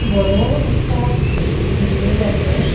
বড় একটা বিল্ডিং আসে।